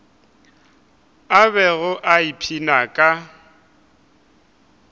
a bego a ipshina ka